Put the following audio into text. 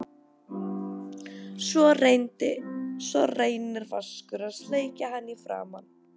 Svo reynir Vaskur að sleikja hann í framan.